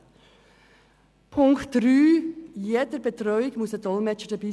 Zu Punkt 3: Bei jeder Betreuung soll ein Dolmetscher dabei sein.